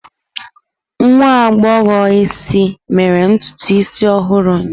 Nwa agbọghọ isi mere ntutu isi ọhụrụ ụnyaahụ.